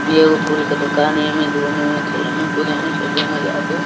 इ एगो फूल के दोकान है| ऐमे घूमे में खेले में कूदे में --